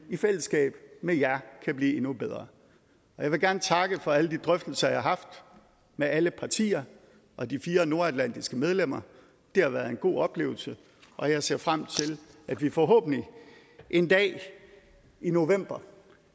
i fællesskab med jer kan blive endnu bedre jeg vil gerne takke for alle de drøftelser jeg har haft med alle partier og de fire nordatlantiske medlemmer det har været en god oplevelse og jeg ser frem til at vi forhåbentlig en dag i november